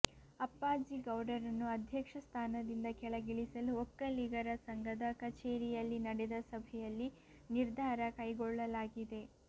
ಅಪ್ಪಾಜಿಗೌಡರನ್ನು ಅಧ್ಯಕ್ಷ ಸ್ಥಾನದಿಂದ ಕೆಳಗಿಳಿಸಲು ಒಕ್ಕಲಿಗರ ಸಂಘದ ಕಚೇರಿಯಲ್ಲಿ ನಡೆದ ಸಭೆಯಲ್ಲಿ ನಿರ್ಧಾರ ಕೈಗೊಳ್ಳಲಾಗಿದೆ